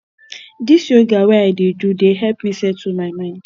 dis yoga wey i dey do dey help me settle my mind